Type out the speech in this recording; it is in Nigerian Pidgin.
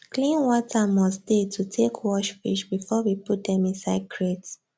clean water must dey to take wash fish before we put dem inside crate